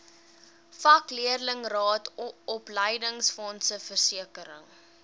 vakleerlingraad opleidingsfonds versekering